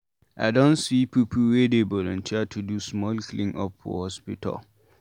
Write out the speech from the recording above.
I don see pipu wey dey volunteer to do small clean-up for hospital.